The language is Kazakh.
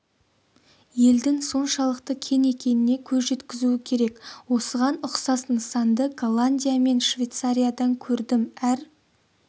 елдің соншалықты кең екеніне көз жеткізуі керек осыған ұқсас нысанды голландия мен швейцариядан көрдім әр